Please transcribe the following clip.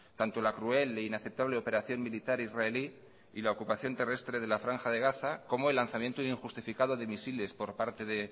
tanto la cruel e inaceptable operación militar israelí y la ocupación terrestre de la franja de gaza como el lanzamiento injustificado de misiles por parte de